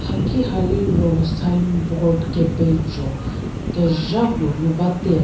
ha ki ha liro signboard kepezho kezha puo ngu bate.